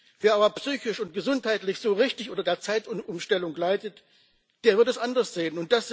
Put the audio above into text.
Wer aber psychisch und gesundheitlich so richtig unter der Zeitumstellung leitet, der wird das anders sehen.